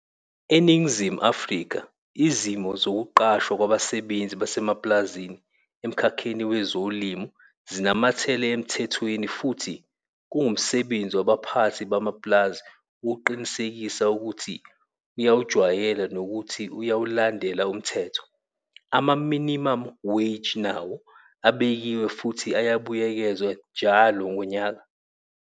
ENingizimu Afrika izimo zokuqashwa kwabasebenzi basemapulazini emkhakheni wezolimo zinamathele emthethweni futhi kungumsebenzi wabaphathi bamapulazi ukuqinisekisa ukuthi uyawujwayela nokuthi uyawulandela umthetho. Ama-minimum wage nawo abekiwe futhi ayabuyekezwa njalo ngonyaka.